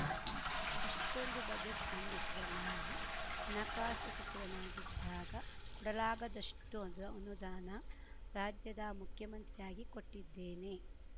ಅಷ್ಟೊಂದು ಬಜೆಟ್‌ ಮಂಡಿಸಿದ್ದ ನಾನು ಹಣಕಾಸು ಸಚಿವನಾಗಿದ್ದಾಗ ಕೊಡಲಾಗದಷ್ಟು ಅದು ಅನುದಾನ ರಾಜ್ಯದ ಮುಖ್ಯಮಂತ್ರಿಯಾಗಿ ಕೊಟ್ಟಿದ್ದೇನೆ